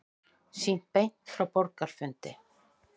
Sýnt beint frá borgarafundi